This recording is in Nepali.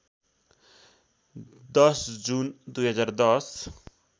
१० जुन २०१०